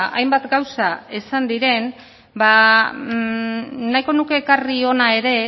hainbat gauza esan diren nahiko nuke ekarri hona ere